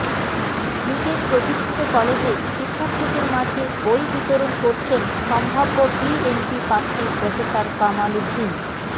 নিজের প্রতিষ্ঠিত কলেজে শিক্ষার্থীদের মাঝে বই বিতরণ করছেন সম্ভাব্য বিএনপিপ্রার্থী প্রফেসর কামাল উদ্দিন